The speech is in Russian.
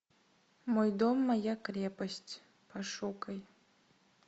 мой дом моя крепость пошукай